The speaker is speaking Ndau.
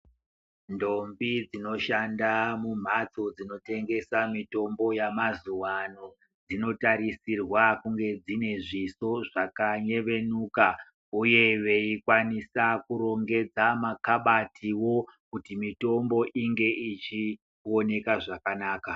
Ndombi dzinoshanda mumhatso dzinotengesa mitombo yamazuwa ano dsinotarisirwa kunge dsine zvisonzvakayevenuka uye veikwanisa kurongedza makabatiwo kuti mitombo inge ichioneka zvakanaka.